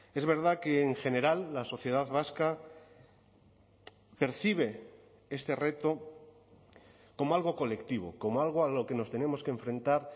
es verdad que en general la sociedad vasca percibe este reto como algo colectivo como algo a lo que nos tenemos que enfrentar